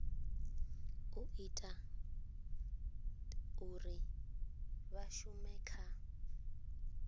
ita uri vha shume kha